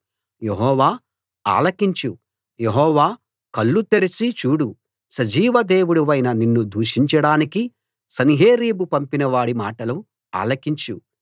యెహోవా ఆలకించు యెహోవా కళ్ళు తెరచి చూడు సజీవ దేవుడివైన నిన్ను దూషించడానికి సన్హెరీబు పంపినవాడి మాటలు ఆలకించు